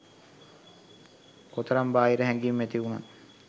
කොතරම් බාහිර හැඟිම් ඇතිවුනත්